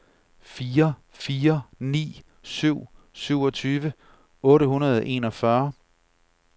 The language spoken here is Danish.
fire fire ni syv syvogtyve otte hundrede og enogfyrre